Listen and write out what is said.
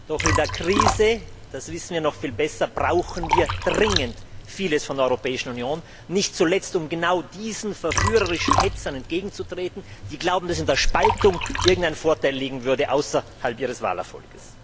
Doch in der Krise, das wissen wir noch viel besser, brauchen wir dringend vieles von der Europäischen Union, nicht zuletzt, um genau diesen verführerischen Hetzern entgegenzutreten, die glauben, dass in der Spaltung irgendein Vorteil liegen würde, abgesehen von ihrem Wahlerfolg.